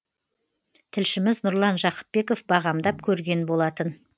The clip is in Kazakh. тілшіміз нұрлан жақыпбеков бағамдап көрген болатын